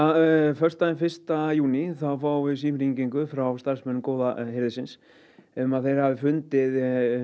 föstudaginn fyrsta júní þá fáum við símhringingu frá starfsmönnum góða hirðisins um að þeir hafi fundið